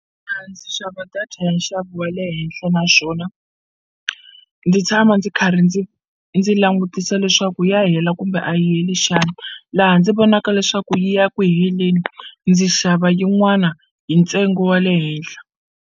ndzi xava data ya nxavo wa le henhla naswona ndzi tshama ndzi karhi ndzi ndzi langutisa leswaku ya hela kumbe a yi heli xana laha ndzi vonaka leswaku yi ya ku heleni ndzi xava yin'wana hi ntsengo wa le henhla.